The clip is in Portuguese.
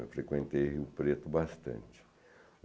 Eu frequentei o Preto bastante.